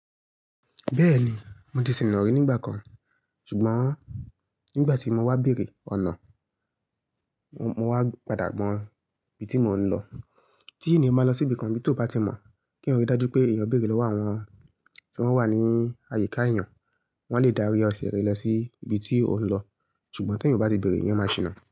Bẹ́ẹ̀ni mo ti sìna rí nígbà kan, ṣùgbọ́n nígbà tí mo wá bèerè ọ̀nà mo wá padà mọ ibi tí mò ń lọ. Tí ènìyàn bá lọ sí ibìkan bí tó bá tí mọ̀ kí eeyan rí dájú pé èèyàn bèerè lọ́wọ́ àwọn tí wọ́n wà ní àyíká èèyàn. Wọ́n lè darí ọ sílẹ̀ lọ sí ibi tí ó ń lọ. Ṣùgbọ́n tí èèyàn o bá ti beèrè, eeyan máa ṣìna.